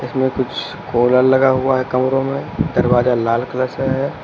इधर कुछ लगा हुआ है कमरों में दरवाजा लाल कलर से है।